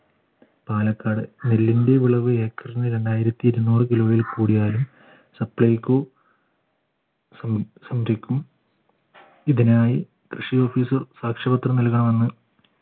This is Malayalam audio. പാലക്കാട് നെല്ലിന്റെ വിളവ് ഏക്കറിന് രണ്ടായിരത്തി ഇരുന്നൂറ് kilo യിൽ കൂടിയാലും supplyco ഇതിനായി കൃഷി officer സാക്ഷ്യപത്രം നൽകണമെന്ന്